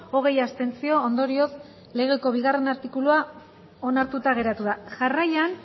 hogei abstentzio ondorioz legeko bigarrena artikulua onartuta geratu da jarraian